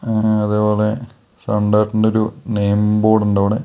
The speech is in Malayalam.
അങ്ങനെ അതെപോലെ സൺ‌ഡയറക്റ്റിന്റെ ഒരു നെയിം ബോർഡ് ഉണ്ടവിടെ.